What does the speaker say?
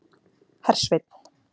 Hersveinn